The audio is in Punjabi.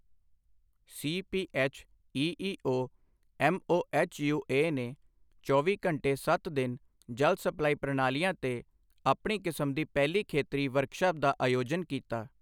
ਸੀਪੀਐੱਚਈਈਓ ਐਮਓਐਚਯੂਏ ਨੇ ਚੌਵੀ ਘੰਟੇ ਸੱਤ ਦਿਨ ਜਲ ਸਪਲਾਈ ਪ੍ਰਣਾਲੀਆਂ ਤੇ ਆਪਣੀ ਕਿਸਮ ਦੀ ਪਹਿਲੀ ਖੇਤਰੀ ਵਰਕਸ਼ਾਪ ਦਾ ਆਯੋਜਨ ਕੀਤਾ